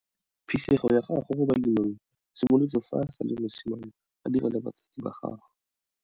Phisego ya gagwe go bolemirui e simolotse fa a sa le mosimane a dira le batsadi ba gagwe.